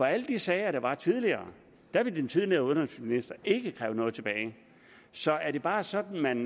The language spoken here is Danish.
alle de sager der var tidligere ville den tidligere undervisningsminister ikke kræve noget tilbage så er det bare sådan at man